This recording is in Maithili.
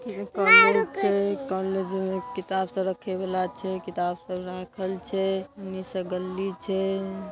इ कॉलेज छै कॉलेज में किताब सब रखे वाला छै किताब सब राखल छै उन्ही से गल्ली छै।